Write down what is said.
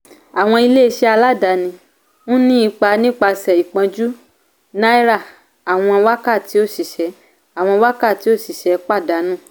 àwọn ilé iṣẹ́ aládàání ń ni ipa nípasẹ̀ ìpọ́njú náírà àwọn wákàtí òṣìṣẹ́ àwọn wákàtí òṣìṣẹ́ pàdánù.